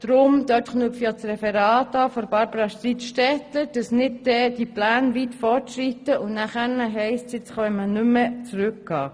Das geschieht auch deshalb, weil wir nicht wollen, dass die Pläne weit fortschreiten und es nachher heisst, nun können wir nicht mehr zurückgehen.